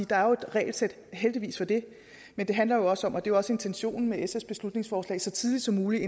der er et regelsæt heldigvis for det men det handler også om og det er også intentionen med sfs beslutningsforslag så tidligt som muligt